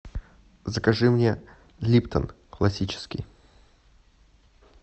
закажи мне липтон классический